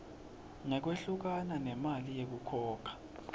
ngekwehlukana nemali yekukhokha